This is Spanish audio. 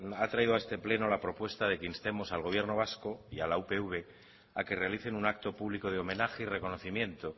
ha traído a este pleno la propuesta de que instemos al gobierno vasco y a la upv a que realicen un acto público de homenaje y reconocimiento